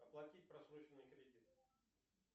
оплатить просроченный кредит